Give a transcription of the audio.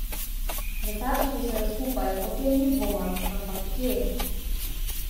Zasačili so ju skupaj, o tem ni dvoma, ampak kje?